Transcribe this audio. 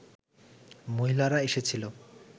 মহিলারা এসেছিল